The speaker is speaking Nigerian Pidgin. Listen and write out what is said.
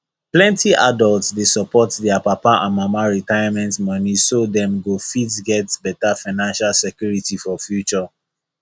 plenty adults dey support their papa and mama retirement money so dem go fit get better financial security for future